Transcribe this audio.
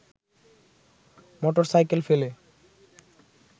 motorcycle ফেলে